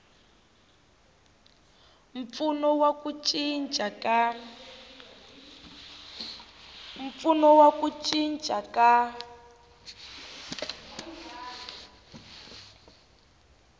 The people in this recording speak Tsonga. mpfuno wa ku cinca ka